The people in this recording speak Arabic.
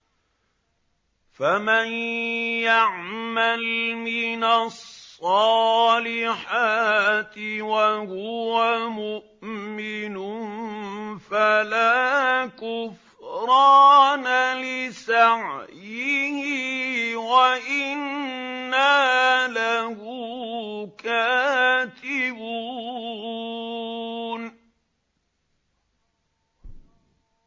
فَمَن يَعْمَلْ مِنَ الصَّالِحَاتِ وَهُوَ مُؤْمِنٌ فَلَا كُفْرَانَ لِسَعْيِهِ وَإِنَّا لَهُ كَاتِبُونَ